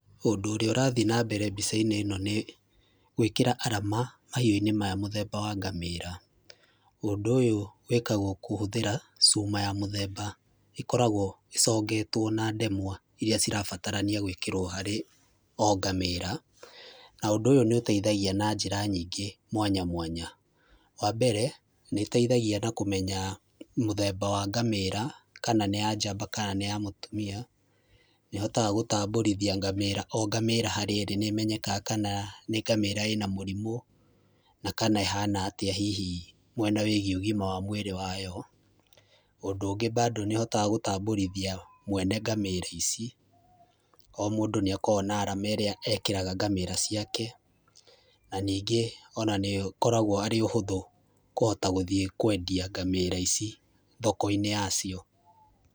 Ũndũ ũrĩa ũrathi na mbere mbica-inĩ ĩno nĩ, gwĩkĩra alama mahiũ maya mũthemba wa ngamĩra. Ũndũ ũyũ wĩkagwo kũhũthĩra cuma ya mũthemba. ĩkoragwo ĩcongetwo na ndemwa irĩa cirabatarania gwĩkĩrwo harĩ o ngamĩra. Na ũndũ ũyũ nĩ ũteithagia na njĩra nyingĩ mwanya mwanya. Wa mbere, nĩ na ũteithagia na kũmenya mũthemba wa ngamĩra, kana nĩ njamba kana nĩ ya mũtumia, nĩ ũhotaga gũtambũrithia ngamĩra o ngamĩra harĩa ĩrĩ, nĩ ĩmenyekaga kana nĩ ngamĩra ĩna mũrimũ, na kana ĩhana atĩa hihi mwena wĩgiĩ ũgima wa mwĩrĩ wayo. Ũndũ ũngĩ bado nĩ ĩhotaga gũtambũrithia mwene ngamĩra ici. O mũndũ nĩ akoragwo na arama ĩrĩa ekĩraga ngamĩra ciake, na ningĩ ona nĩ ũkoragwo arĩ ũhũthũ kũhota gũthiĩ kwendia ngamĩra ici thoko-inĩ ya cio.